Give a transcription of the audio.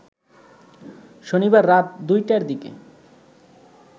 শনিবার রাত দুইটার দিকে